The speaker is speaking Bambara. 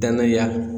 Danaya